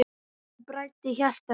Nóttin bræddi hjarta mitt.